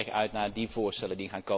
Ik kijk erg uit naar die voorstellen.